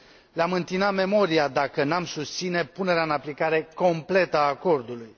Le am întina memoria dacă nu am susține punerea în aplicare completă a acordului.